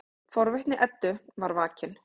Forvitni Eddu er vakin.